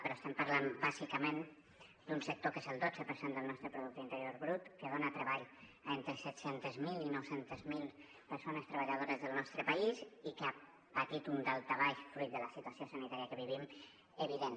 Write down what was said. però estem parlant bàsicament d’un sector que és el dotze per cent del nostre producte interior brut que dona treball a entre set cents miler i nou cents miler persones treballadores del nostre país i que ha patit un daltabaix fruit de la situació sanitària que vivim evident